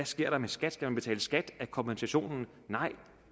sker med skat skal man betale skat af kompensationen nej